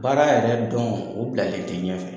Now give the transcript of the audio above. Baara yɛrɛ dɔn, o bilalen tɛ ɲɛ fɛ.